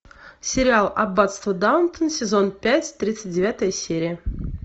сериал аббатство даунтон сезон пять тридцать девятая серия